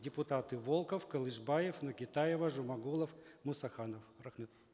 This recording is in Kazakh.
депутаты волков кылышбаев нокетаева жумагулов мусаханов рахмет